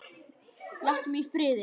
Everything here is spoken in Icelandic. Láttu mig í friði!